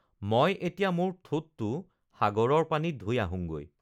মই এতিয়া মোৰ ঠোঁটটো সাগৰৰ পানীত ধুই আহোঁঙগৈ